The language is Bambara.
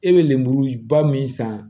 E bɛ lemuruba min san